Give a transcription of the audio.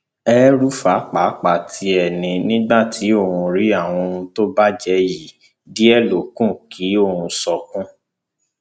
elrufai pàápàá tiẹ ní nígbà tí òun rí àwọn ohun tó bàjẹ yìí díẹ ló kù kí òun sunkún